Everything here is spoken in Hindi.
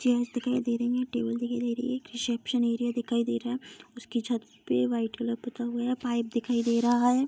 चेयर्स दिखाई दे रही है टेबल्स दिखाई दे रहे हैं रिसेप्शन एरिया दिखाई दे रहा है उसकी छत पे व्हाइट कलर पुता गया पाइप दिखाई दे रहा है।